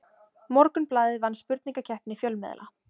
Morgunblaðið vann spurningakeppni fjölmiðla